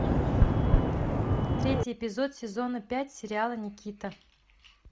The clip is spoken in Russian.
третий эпизод сезона пять сериала никита